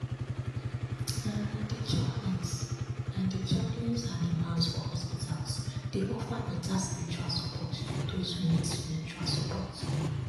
and imams for hospitals dey offer better spiritual support to those wey need spiritual support